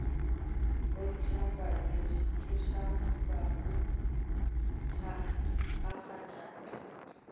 fodišang balwetši tsošang bahu thakgafatšang